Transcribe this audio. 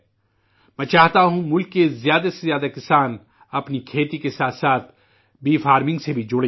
میں چاہتا ہوں، ملک کے زیادہ سے زیادہ کسان اپنی کھیتی کے ساتھ ساتھ شہد کی زراعت سے بھی جڑیں